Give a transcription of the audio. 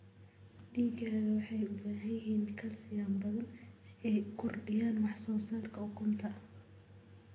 Digaagga waxay u baahan yihiin kalsiyum badan si ay u kordhiyaan wax soo saarka ukunta.